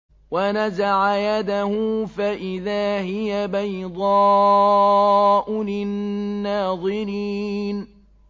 وَنَزَعَ يَدَهُ فَإِذَا هِيَ بَيْضَاءُ لِلنَّاظِرِينَ